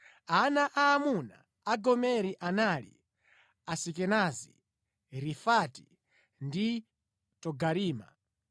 Ana aamuna a Gomeri anali: Asikenazi, Rifati ndi Togarima